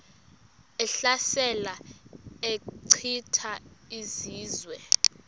ehlasela echitha izizwe